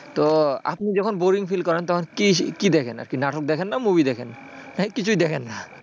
তো আপনি যখন boring feel করেন তখন কি কি দেখেন নাটক দেখেন না movie দেখেন? না কিছুই দেখেন না?